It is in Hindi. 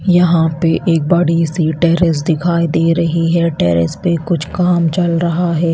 यहां पे एक बड़ी सी टेरेस दिखाई दे रही है टेरेस पर कुछ काम चल रहा है।